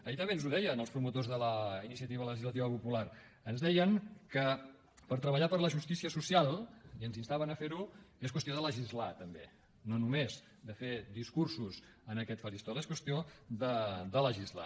ahir també ens ho deien els promotors de la iniciativa legislativa popular ens deien que per treballar per la justícia social i ens instaven a fer ho és qüestió de legislar també no només de fer discursos en aquest faristol és qüestió de legislar